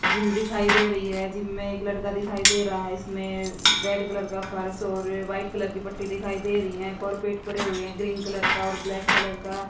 gym दिखाई दे रही हैं जिम में एक लड़का दिखाई दे रहा है इसमें रेड कलर का फर्श हो रहे व्हाइट कलर की पट्टी दिखाई दे रही हैं कार्पेट पड़े हुए हैं ग्रीन कलर का और ब्लैक कलर का--